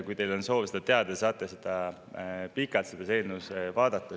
Kui teil on soov seda teada saada, seda eelnõu.